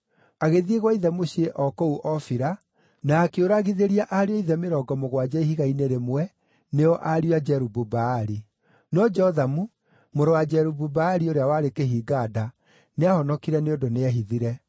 Agĩthiĩ gwa ithe mũciĩ o kũu Ofira na akĩũragithĩria ariũ a ithe mĩrongo mũgwanja ihiga-inĩ rĩmwe, nĩo ariũ a Jerubu-Baali. No Jothamu, mũrũ wa Jerubu-Baali ũrĩa warĩ kĩhinga-nda, nĩahonokire nĩ ũndũ nĩehithire.